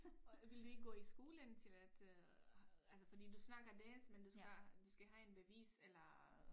Og ville du ikke gå i skole indtil at øh altså fordi du snakker dansk men du skal du skal have en bevis eller